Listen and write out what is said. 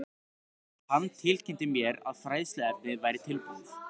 Hann tilkynnti mér, að fræðsluefnið væri tilbúið